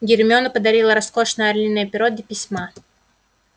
гермиона подарила роскошное орлиное перо для письма